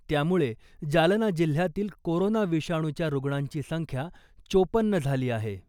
त्यामुळे जालना जिल्ह्यातील कोरोना विषाणूच्या रुग्णांची संख्या चोपन्न झाली आहे .